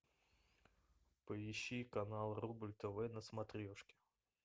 поищи канал рубль тв на смотрешке